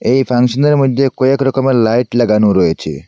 এই ফাংশনের মইধ্যে কয়েকরকমের লাইট লাগানো রয়েছে।